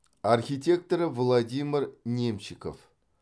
архитекторы владимир немчиков